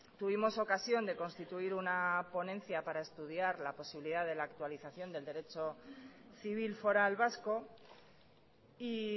tuvimos ocasión de constituir una ponencia para estudiar la posibilidad de la actualización del derecho civil foral vasco y